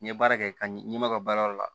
N'i ye baara kɛ ka ɲɛ n'i ɲɛ ma ka baara yɔrɔ la